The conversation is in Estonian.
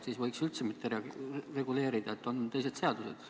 Siis võiks üldse mitte reguleerida, sest on teised seadused.